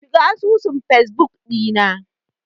Shiga asusun fesbuk ɗina.